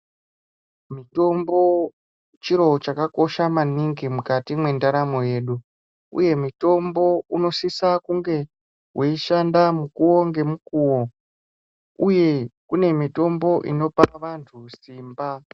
Mitombo chiro chaka kosha maningi mukati mwe ndaramo yedu uye mitombo uno sisa kunge weishanda mukuwo nge mukuwo uye kune mitombo inopa vantu simba.